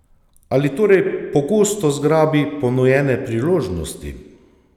Ali torej pogosto zgrabi ponujene priložnosti?